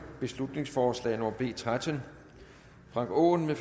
beslutningsforslag nummer b tretten frank aaen